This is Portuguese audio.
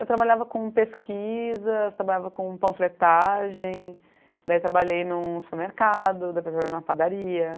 Eu trabalhava com pesquisas, trabalhava com panfletagem, daí trabalhei em um supermercado, depois trabalhei em uma padaria.